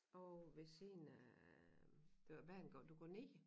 Ovre ved siden af der ved banegård du går ned